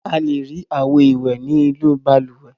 A le rí àwo-ìwẹ̀ nínú balùwẹ̀.